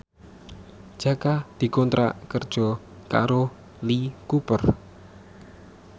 Jaka dikontrak kerja karo Lee Cooper